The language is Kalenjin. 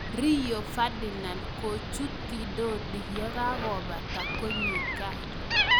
Rio Ferdinand kuchut ndondi ye kakobata konyo gaa.